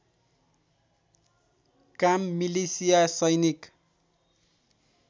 काम मिलिसिया सैनिक